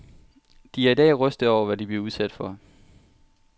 De er i dag rystede over, hvad de blev udsat for.